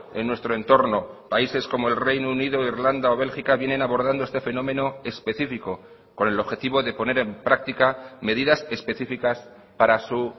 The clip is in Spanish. en nuestro entorno países como el reino unido irlanda o bélgica vienen abordando este fenómeno específico con el objetivo de poner en práctica medidas específicas para su